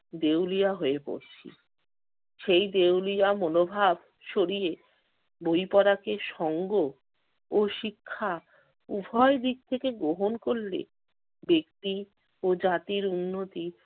দেউলিয়া হয়ে পড়ছি। সেই দেউলিয়া মনোভাব সরিয়ে বই পড়াকে সঙ্গ ও শিক্ষা উভয় দিক থেকে গ্রহণ করলে ব্যক্তি ও জাতির উন্নতি